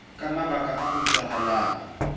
ka mabaka a utlwahalang ho